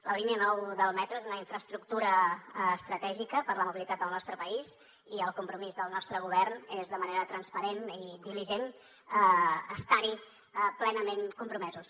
la línia nou del metro és una infraestructura estratègica per la mobilitat del nostre país i el compromís del nostre govern és de manera transparent i diligent estar hi plenament compromesos